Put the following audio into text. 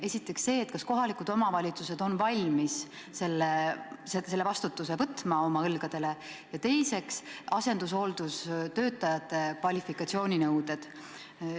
Esiteks see, kas kohalikud omavalitsused on valmis selle vastutuse võtma oma õlgadele, ja teiseks asendushooldustöötajate kvalifikatsiooninõuded.